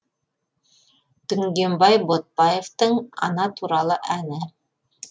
дүнгенбай ботбаевтың ана туралы әні